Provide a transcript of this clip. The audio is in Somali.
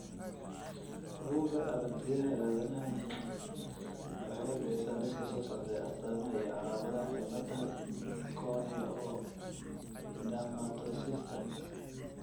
Bugga Aaragtiyaha Aadanaha waxay bixisaa liiska soo socda ee astamaha iyo calaamadaha cilada Corneodermatoossiska.